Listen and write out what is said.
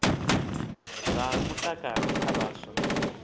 zwa mutakalo kha vhaswa na